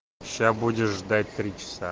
сейчас будешь ждать три часа